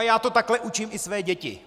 A já to takhle učím i své děti.